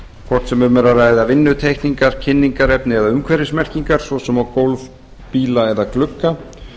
hvort sem um er að ræða vinnuteikningar kynningarefni eða umhverfismerkingar svo sem á gólf bíla eða glugga